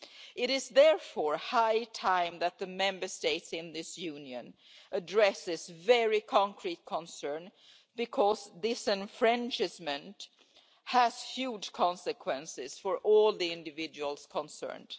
It is therefore high time that the Member States in this Union address this very concrete concern because disenfranchisement has huge consequences for all the individuals concerned.